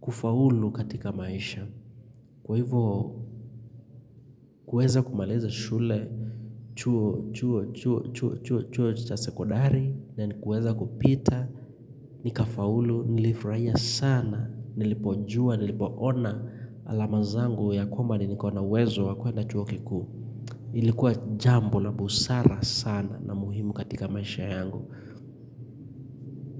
kufaulu katika maisha. Kwa hivyo, kuweza kumaliza shule, chuo, chuo, chuo, chuo, chuo, chuo cha sekondari, na nikaweza kupita, nikafaulu, nilifurahia sana nilipojua, nilipoona alama zangu ya kwamba niko na uwezo wa kwenda chuo kikuu. Ilikuwa jambo la busara sana na muhimu katika maisha yangu.